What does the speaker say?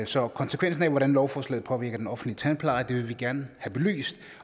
så konsekvensen af hvordan lovforslaget påvirker den offentlige tandpleje vil vi gerne have belyst